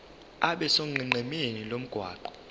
abe sonqenqemeni lomgwaqo